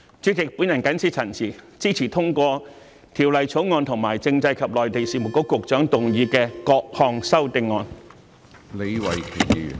主席，我謹此陳辭，支持通過《條例草案》和政制及內地事務局局長動議的各項修正案。